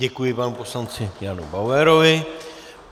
Děkuji panu poslanci Janu Bauerovi.